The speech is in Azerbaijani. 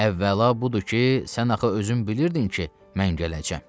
Əvvəla budur ki, sən axı özün bilirdin ki, mən gələcəm.